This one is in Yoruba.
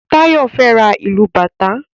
Tayo fè rá ilú bàtá